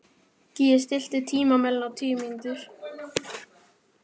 Gígí, stilltu tímamælinn á tíu mínútur.